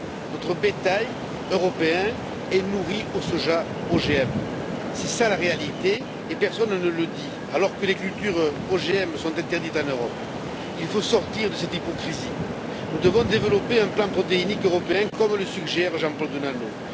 Notre bétail européen est nourri au soja OGM. Telle est la réalité et personne ne le dit, alors que les cultures OGM sont interdites en Europe. Il faut sortir de cette hypocrisie. Nous devons développer un plan protéique européen, comme le suggère Jean Paul Denanot.